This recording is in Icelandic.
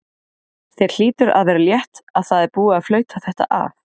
Þér hlýtur að vera létt að það er búið að flauta þetta af?